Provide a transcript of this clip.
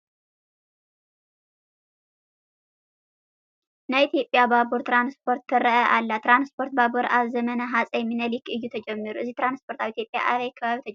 ናይ ኢትዮጵያ ባቡር ትራንስፖርት ትርአ ኣላ፡፡ ትራንስፖርት ባቡር ኣብ ዘመነ ሃፀይ ሚንሊክ እዩ ተጀሚሩ፡፡ እዚ ትራንስፖርት ኣብ ኢትዮጵያ ኣበይ ከባቢ ተጀሚሩ?